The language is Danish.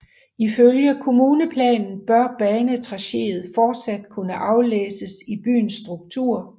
Ifølge kommuneplanen bør banetracéet fortsat kunne aflæses i byens struktur